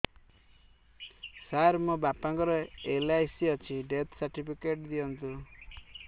ସାର ମୋର ବାପା ଙ୍କର ଏଲ.ଆଇ.ସି ଅଛି ଡେଥ ସର୍ଟିଫିକେଟ ଦିଅନ୍ତୁ